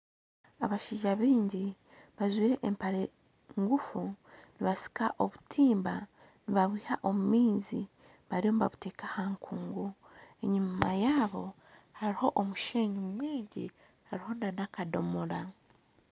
Abashaija baingi bajwaire empare ngufu nibasika obutimba nibabwiha omu maizi bariyo nibabuteeka aha nkungu enyima yaabo hariho omusheeyi hamwe nana akadomora